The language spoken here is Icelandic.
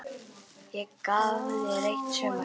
Ég gaf þér eitt sumar.